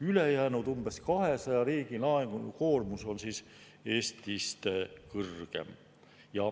Ülejäänud umbes 200 riigi laenukoormus on Eestist kõrgem.